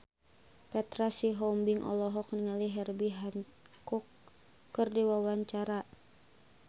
Petra Sihombing olohok ningali Herbie Hancock keur diwawancara